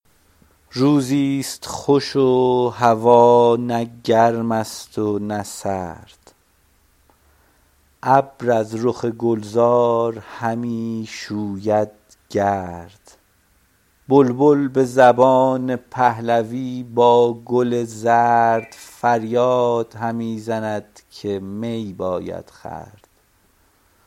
روزی ست خوش و هوا نه گرم است و نه سرد ابر از رخ گلزار همی شوید گرد بلبل به زبان پهلوی با گل زرد فریاد همی زند که می باید خورد